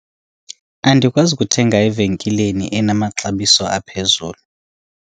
andikwazi kuthenga evenkileni enamaxabiso aphezulu